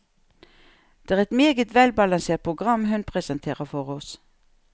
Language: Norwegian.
Det er et meget velbalansert program hun presenterer for oss.